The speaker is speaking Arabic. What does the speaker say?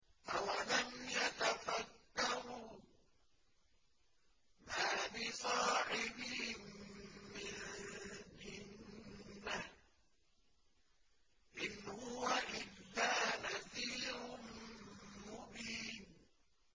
أَوَلَمْ يَتَفَكَّرُوا ۗ مَا بِصَاحِبِهِم مِّن جِنَّةٍ ۚ إِنْ هُوَ إِلَّا نَذِيرٌ مُّبِينٌ